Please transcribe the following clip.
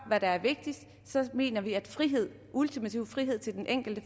hvad der er vigtigst så mener vi at frihed ultimativ frihed til den enkelte